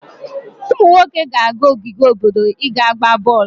Ụmụ nwoke ga-aga n'ogige obodo i ga-gbaa bọọlụ.